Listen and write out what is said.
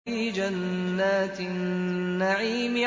فِي جَنَّاتِ النَّعِيمِ